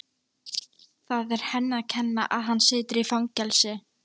Það er henni að kenna að hann situr í fangelsi.